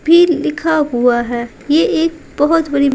भी लिखा हुआ है यह एक बहुत बड़ी।